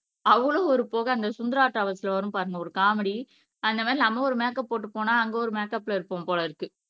அவளோ ஒரு புகை அந்த சுந்தரா ட்ராவல்ஸ் வரும் பாருங்க ஒரு காமெடி அந்த மாதிரி நம்ம ஒரு மேக்கப் போட்டு போனா அங்க ஒரு மேக்கப்ல இருப்போம் போல இருக்கு